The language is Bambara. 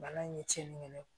Bana in ye cɛnni kɛ ne ye